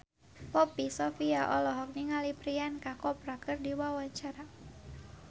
Poppy Sovia olohok ningali Priyanka Chopra keur diwawancara